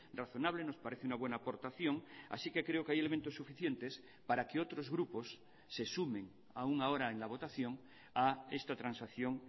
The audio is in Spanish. razonable nos parece una buena aportación así que creo que hay elementos suficientes para que otros grupos se sumen aún ahora en la votación a esta transacción